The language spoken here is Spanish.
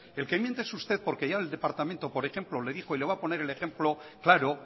el que miente es usted porque ya en el departamento por ejemplo le dijo y le voy a poner el ejemplo claro